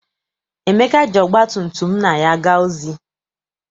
Emeka ji ọgba tum tum nna ya gaa ozi.